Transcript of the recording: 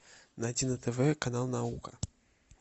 найти на тв канал наука